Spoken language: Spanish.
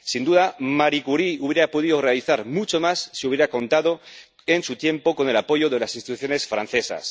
Sin duda, Marie Curie habría podido realizar mucho más si hubiera contado, en su tiempo, con el apoyo de las instituciones francesas.